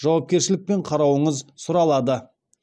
жауапкершілікпен қарауыңыз сұралады